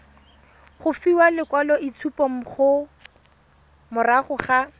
go fiwa lekwaloitshupo morago ga